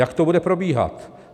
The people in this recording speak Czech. Jak to bude probíhat?